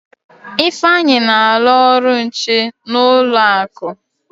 Ifeanyi na-alụ ọrụ nche n'ụlọ akụ.